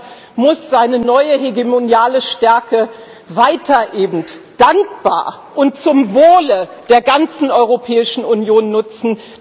Deutschland muss seine neue hegemoniale Stärke eben weiter dankbar und zum Wohle der ganzen Europäischen Union nutzen.